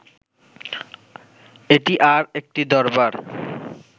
এটি আর একটি দরবার